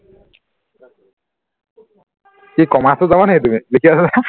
কি commerce ত যাবা নি তুমি লিখি আছা যে